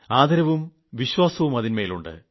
ആദരവും വിശ്വാസവും അതിൻമേലുണ്ട്